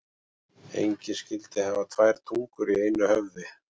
Engin skyldi hafa tvær tungur í einu höfði.